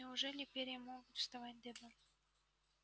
неужели перья могут вставать дыбом